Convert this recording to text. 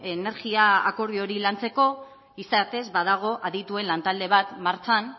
energia akordio hori lantzeko izatez badago adituen lantalde bat martxan